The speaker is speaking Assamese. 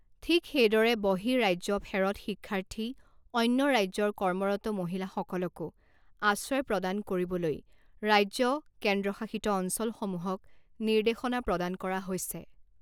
ঠিক সেইদৰে বহিঃ ৰাজ্যফেৰৎ শিক্ষাৰ্থী, অন্য ৰাজ্যৰ কৰ্মৰত মহিলাসকলকো আশ্ৰয় প্ৰদান কৰিবলৈ ৰাজ্য কেন্দ্ৰশাসিত অঞ্চলসমূহক নিৰ্দেশনা প্ৰদান কৰা হৈছে।